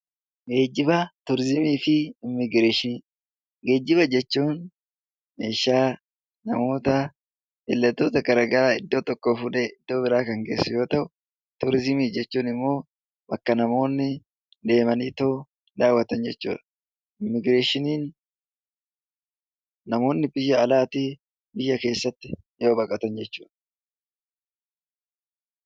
Geejjiba jechuun meeshaa namoota daldaltoota garaagaraa iddoo tokkoo fuudhee iddoo biraa kan geessu yoo ta'u, turizimii jechuun immoo bakka namoonni deemanii daawwatan jechuudha. Immiigireeshiniin namoonni biyya alaatii biyya keessatti yoo baqatan jechuudha.